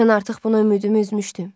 Mən artıq buna ümidimi üzmüşdüm.